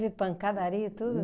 pancadaria e tudo?